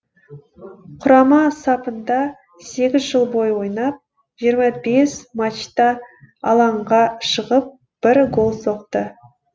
құрама сапында сегіз жыл бойы ойнап жиырма бес матчта алаңға шығып бір гол соқты